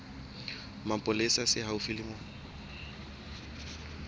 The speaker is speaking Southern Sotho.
mapolesa se haufi le moo